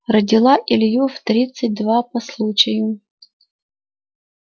родила илью в тридцать два по случаю